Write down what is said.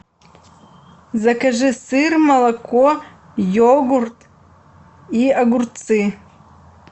закажи сыр молоко йогурт и огурцы